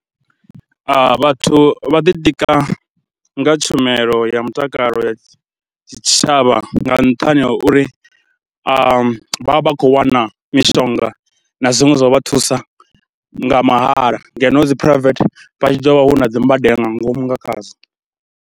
Vhathu vha ḓitika nga tshumelo ya mutakalo ya tshitshavha nga nṱhani ha uri vha vha vha khou wana mishonga na zwiṅwe zwa vha thusa nga mahala ngeno dzi phuraivethe vha tshi ḓo vha hu na dzi mbadelo nga ngomu nga khazwo.